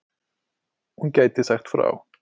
Hún gæti sagt frá.